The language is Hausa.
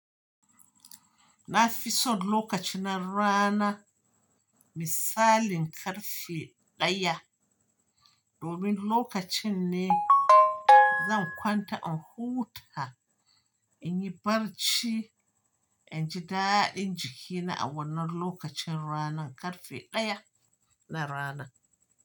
Na fi son lokacin na rana misalin karfe ɗaya. Domin lokacin ne zan kwanta in huta in yi barci in ji daɗin jikina a wannan lokacin ranan karfe ɗaya na rana.